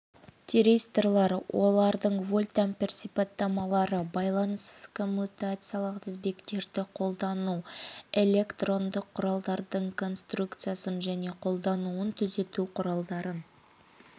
тиристорлар олардың вольтампер сипаттамалары байланыссыз коммутациялық тізбектерді қолдану электрондық құралдардың конструкциясын және қолдануын түзету құралдарын